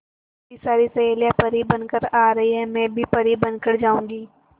मेरी सारी सहेलियां परी बनकर आ रही है मैं भी परी बन कर जाऊंगी